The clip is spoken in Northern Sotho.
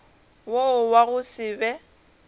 wo wa go se be